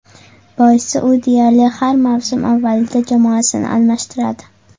Boisi u deyarli har mavsum avvalida jamoasini almashtiradi.